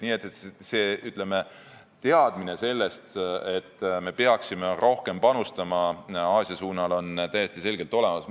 Nii et see teadmine, et me peaksime rohkem panustama Aasia suunal, on täiesti selgelt olemas.